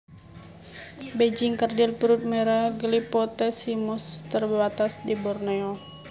Bajing kerdil perut merah Glyphotes simus terbatas di Borneo